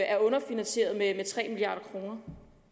er underfinansieret med tre milliard kroner